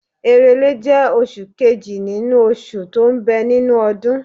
Èrèlé jẹ́ oṣù kejì nínú oṣù tó ń bẹ nínú ọdún.